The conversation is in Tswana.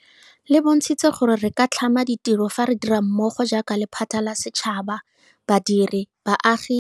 Le bontshitse gore re ka tlhama ditiro fa re dira mmogo jaaka lephata la setšhaba, badiri, baagi le puso.